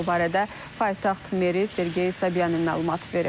Bu barədə paytaxt Meri Sergey Sobyanin məlumat verib.